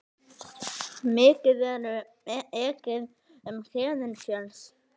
Mikið ekið um Héðinsfjörð